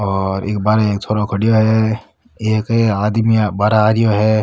और इक बार एक छोरो खडियो है एक आदमी बार आ रहियो है।